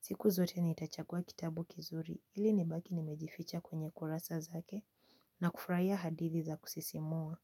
siku zote nitachagua kitabu kizuri ili nibaki nimejificha kwenye kurasa zake na kufurahia hadithi za kusisimua.